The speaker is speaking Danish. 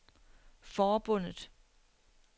forbundet